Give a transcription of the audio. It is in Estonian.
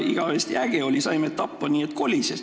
Igavesti äge oli – saime tappa, nii et kolises.